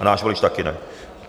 A náš volič také ne.